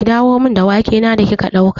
Ki dawo min da wake na da kika ɗauka!